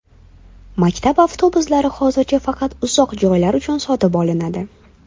Maktab avtobuslari hozircha faqat uzoq joylar uchun sotib olinadi.